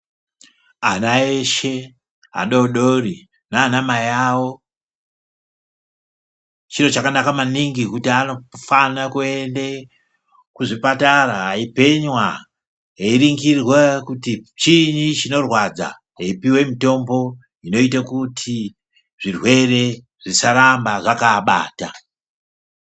Ana eshe adodori nana mai awo ,chiro chakanaka maningi kuti anofana kuende kuzvipatara eipenywa ,ainhingirwa kuti chii chinorwadza veipihwe mitombo inoite kuti zvirwere zvisaramba zvakaabata.